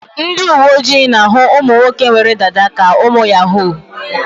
Ndị uwe ojii na-ahụ ụmụ nwoke nwere dada ka ụmụ yahoo.